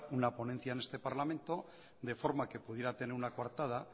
una ponencia en este parlamento de forma que pudiera tener una coartada